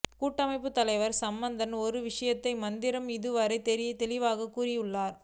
கூட்டமைப்பு தலைவர் சம்பந்தன் ஒரு விடயத்தை மாத்திரம் இதுவரையில் தெளிவாக கூறியுள்ளார்